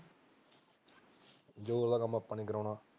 ਜੋਤ ਦਾ ਕੰਮ ਆਪਾ ਨੀ ਕਰਵਾਉਣ